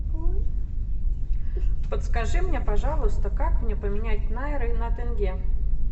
подскажи мне пожалуйста как мне поменять найры на тенге